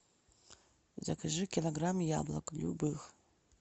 закажи килограмм яблок любых